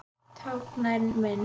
Táknræn mynd.